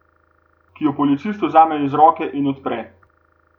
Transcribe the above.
Ki ji jo Policist vzame iz roke in odpre.